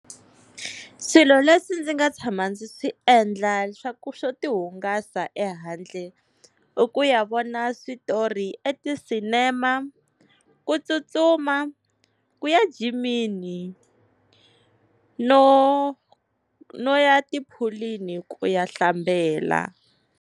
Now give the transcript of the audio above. Swilo leswi ndzi nga tshama ndzi swi endla swa ku swo ti hungasa ehandle, i ku ya vona switori eti-cinema, ku tsutsuma, ku ya jimini, no no ya tiphulwini ku ya hlambela.